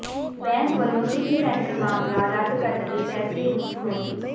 ਬੈਂਸ ਵੱਲੋਂ city centre ਮਾਮਲਾ ਰੱਦ ਕਰਨ ਦੇ ਫ਼ੈਸਲੇ ਨੂੰ ਚੁਣੌਤੀ